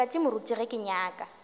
matšatši moruti ge ke nyaka